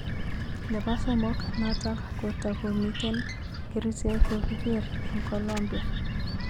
Nepo somok, Neto kotakomiten kerchek kokiker eng Colombia.